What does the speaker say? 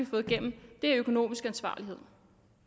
fået igennem er økonomisk ansvarlighed